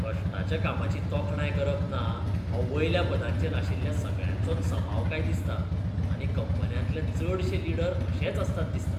कश्टाच्या कामाची तोखणाय करप ना हो वयल्या पदांचेर आशिल्ल्या सगळ्यांचोच सभाव काय दिसता आनी कंपन्यांतले चडशे लीडर अशेच आसतात दिसता.